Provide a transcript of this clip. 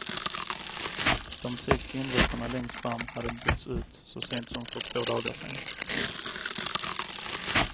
De sex vindrutorna längst fram hade bytts ut så sent som för två dagar sedan.